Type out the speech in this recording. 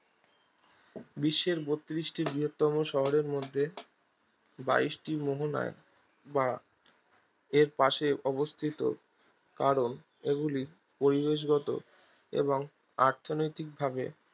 বিশ্বের বত্রিশটি বৃহত্তম শহরের মধ্যে বাইশটি মোহনায় বা এর পাশে অবস্থিত কারণ এগুলি পরিবেশগত এবং অর্থনৈতিকভাবে